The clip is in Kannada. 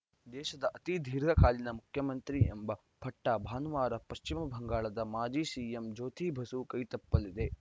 ದೇಶದ ಅತಿ ದೀರ್ಘಕಾಲೀನ ಮುಖ್ಯಮಂತ್ರಿ ಎಂಬ ಪಟ್ಟಭಾನುವಾರ ಪಶ್ಚಿಮ ಬಂಗಾಳದ ಮಾಜಿ ಸಿಎಂ ಜ್ಯೋತಿ ಬಸು ಕೈತಪ್ಪಲಿದೆ